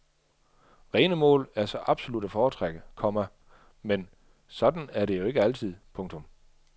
Rene mål er så absolut at foretrække, komma men sådan er det ikke altid. punktum